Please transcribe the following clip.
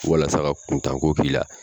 Walasa ka kuntanko k'i la!